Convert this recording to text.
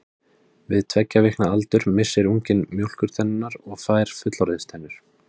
Við tveggja vikna aldur missir unginn mjólkurtennurnar og fær fullorðinstennur.